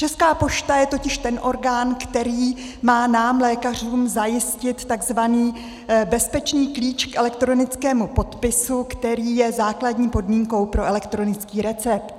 Česká pošta je totiž ten orgán, který má nám lékařům zajistit tzv. bezpečný klíč k elektronickému podpisu, který je základní podmínkou pro elektronický recept.